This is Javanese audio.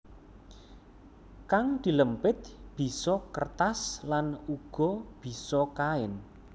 Kang dilempit bisa kertas lan uga bisa kain